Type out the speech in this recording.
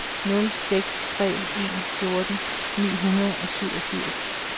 nul seks tre en fjorten ni hundrede og syvogfirs